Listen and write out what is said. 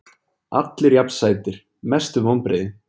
Allir jafn sætir Mestu vonbrigði?